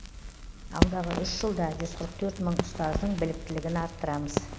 алдағы үш жылда жүз қырық төрт мың ұстаздың біліктілігін арттырамыз